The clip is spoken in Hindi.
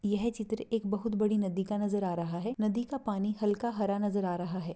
यह चित्र एक बहुत बड़ी नदी का नजर आ रहा है नदी का पानी हल्का हरा नजर आ रहा है।